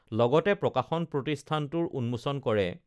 লগতে প্ৰকাশন প্ৰতিষ্ঠানটোৰ উন্মোচন কৰে